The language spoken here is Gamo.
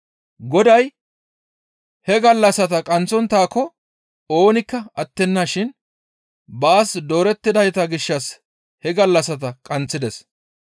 Goday he gallassata qaanththonttaako oonikka attenna shin baas doorettidayta gishshas izi he gallassata qaanththides.